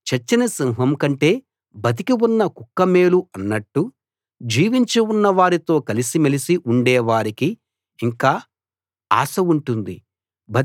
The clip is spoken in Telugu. చచ్చిన సింహం కంటే బతికి ఉన్న కుక్క మేలు అన్నట్టు జీవించి ఉన్నవారితో కలిసి మెలిసి ఉండే వారికి ఇంకా ఆశ ఉంటుంది